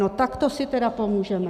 No tak to si tedy pomůžeme.